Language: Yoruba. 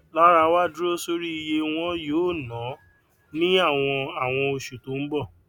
lara wa duro sori iye won yoo na ni awon awon osu to n bo